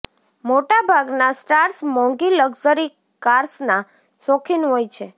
મોટા ભાગના સ્ટાર્સ મોંઘી લક્ઝરી કાર્સના શોખીન હોય છે